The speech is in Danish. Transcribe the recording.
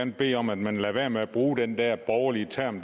bede om at man lader være med at bruge den der borgerlige term